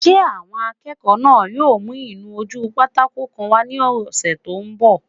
Ṣé àwọn akẹ́kọ̀ọ́ náà yóò mú ìnu-ojúpátákó kan wá ní ọsẹ́ tó n bọ̀?